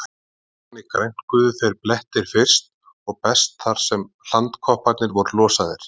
Þannig grænkuðu þeir blettir fyrst og best þar sem hlandkopparnir voru losaðir.